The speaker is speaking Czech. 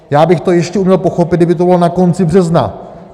Já bych to ještě uměl pochopit, kdyby to bylo na konci března.